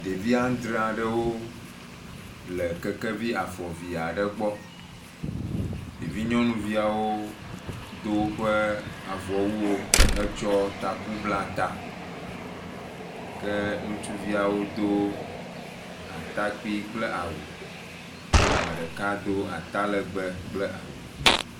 Ɖevi aŋdre aɖewo le kekeviafɔve aɖe gbɔ. Ɖevi nyɔnuviawo wodo woƒe avɔwuwo hetsɔ taku bla ta. Ke nutsuviawo do atakpi kple awu. Ame ɖeka do atalɛgbɛ kple awu.